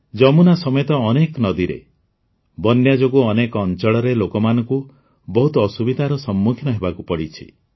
ଯମୁନା ସମେତ ଅନେକ ନଦୀରେ ବନ୍ୟା ଯୋଗୁଁ ଅନେକ ଅଞ୍ଚଳରେ ଲୋକମାନଙ୍କୁ ବହୁତ ଅସୁବିଧାର ସମ୍ମୁଖୀନ ହେବାକୁ ପଡ଼ିଛି